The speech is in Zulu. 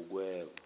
ukweba